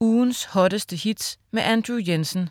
Ugens hotteste hits med Andrew Jensen